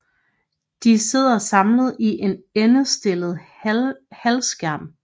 De sidder samlet i en endestillet halvskærm